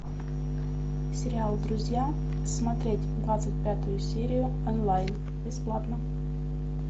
сериал друзья смотреть двадцать пятую серию онлайн бесплатно